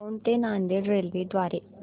दौंड ते नांदेड रेल्वे द्वारे